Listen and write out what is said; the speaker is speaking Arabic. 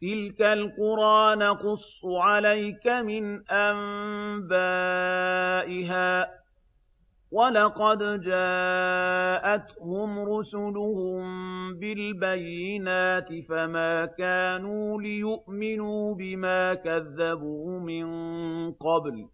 تِلْكَ الْقُرَىٰ نَقُصُّ عَلَيْكَ مِنْ أَنبَائِهَا ۚ وَلَقَدْ جَاءَتْهُمْ رُسُلُهُم بِالْبَيِّنَاتِ فَمَا كَانُوا لِيُؤْمِنُوا بِمَا كَذَّبُوا مِن قَبْلُ ۚ